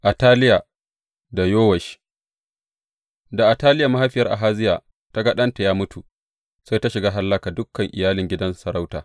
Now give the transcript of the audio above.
Ataliya da Yowash Da Ataliya mahaifiyar Ahaziya ta ga ɗanta ya mutu, sai ta shiga hallaka dukan iyalin gidan sarauta.